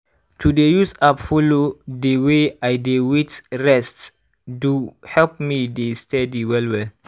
to dey use app follow dey way i dey wait rest do help me dey steady well well.